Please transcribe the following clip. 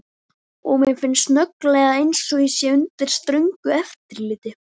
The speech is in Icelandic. Og mér finnst snögglega einsog ég sé undir ströngu eftirliti.